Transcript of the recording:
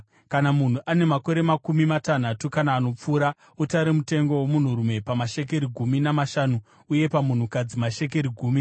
Kana munhu ane makore makumi matanhatu kana anopfuura, utare mutengo womunhurume pamashekeri gumi namashanu , uye pamunhukadzi mashekeri gumi.